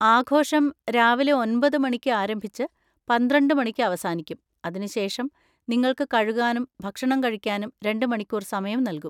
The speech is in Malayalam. ആഘോഷം രാവിലെ ഒന്‍പത് മണിക്ക് ആരംഭിച്ച് പന്ത്രണ്ട് മണിക്ക് അവസാനിക്കും, അതിനുശേഷം നിങ്ങൾക്ക് കഴുകാനും ഭക്ഷണം കഴിക്കാനും രണ്ട് മണിക്കൂർ സമയം നൽകും.